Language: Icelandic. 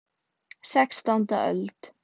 Sextánda öld.